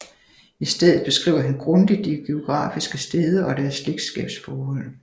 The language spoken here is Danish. I stedet beskriver han grundigt de geografiske steder og deres slægtsskabsforhold